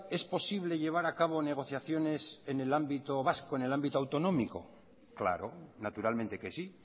es posible llevar a cabo negociaciones en el ámbito vasco en el ámbito autonómico claro naturalmente que sí